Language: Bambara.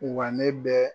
Wa ne bɛ